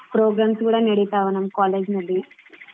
Programs ಕೂಡಾ ನಡೀತಾವ ನಮ್ಮ್ college ನಲ್ಲಿ.